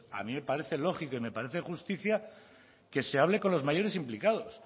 a mí me parece lógico y me parece de justicia que se hable con los mayores implicados